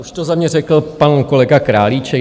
Už to za mě řekl pan kolega Králíček.